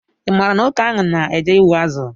Ị maara nwoke ahụ na-eje ịgbụ azụ